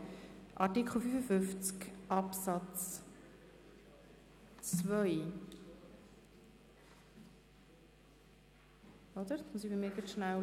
Regierungsrat/SiK gegen Eventualantrag SP-JUSO-PSA [Wüthrich, Huttwil])